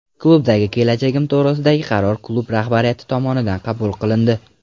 Klubdagi kelajagim to‘g‘risidagi qaror klub rahbariyati tomonidan qabul qilindi.